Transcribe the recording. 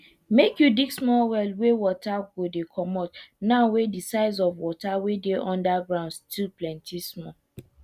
make you dig small well wey water go dey comot now wey de size of water wey dey under ground still plenty small